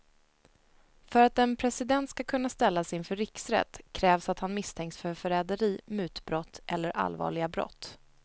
För att en president ska kunna ställas inför riksrätt krävs att han misstänks för förräderi, mutbrott eller allvarliga brott.